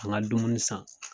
Ka n ka dumuni san